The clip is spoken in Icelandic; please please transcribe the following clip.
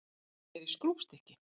Ég er í skrúfstykki.